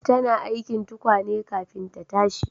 Tana aikin tukwane kafin ta tashi